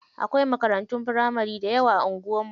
Akwai makarantun firamari dayawa a anguwar mu.